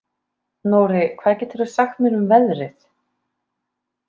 Nóri, hvað geturðu sagt mér um veðrið?